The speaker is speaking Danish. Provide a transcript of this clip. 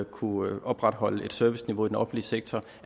kunne opretholde et serviceniveau i den offentlige sektor